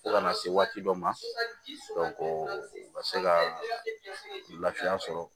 Fo kana se waati dɔ ma u ka se ka lafiya sɔrɔ